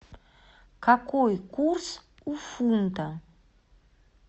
какой курс у фунта